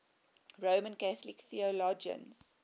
roman catholic theologians